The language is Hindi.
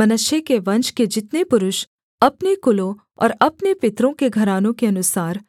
मनश्शे के वंश के जितने पुरुष अपने कुलों और अपने पितरों के घरानों के अनुसार